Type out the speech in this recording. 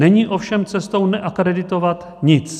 Není ovšem cestou neakreditovat nic.